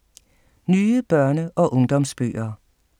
Nye børne- og ungdomsbøger